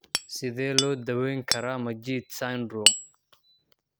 Sidee loo daweyn karaa Majeed syndrome?